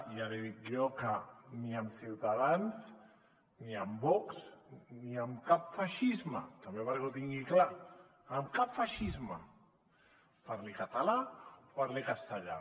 i ja li dic jo que ni amb ciutadans ni amb vox ni amb cap feixisme també perquè ho tingui clar amb cap feixisme parli català o parli castellà